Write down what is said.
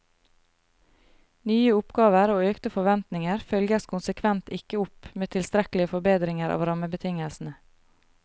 Nye oppgaver og økte forventninger følges konsekvent ikke opp med tilstrekkelige forbedringer av rammebetingelsene.